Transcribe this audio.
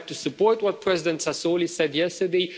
I would like to support what President Sassoli said yesterday.